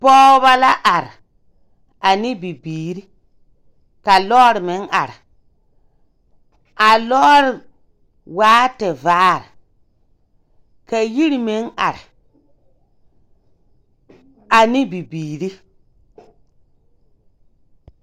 Pɔgebɔ la are, ana bibiiri ka lɔɔre meŋ are. A lɔɔre taa tevaare ka yiri meŋ are, ane bibiiri.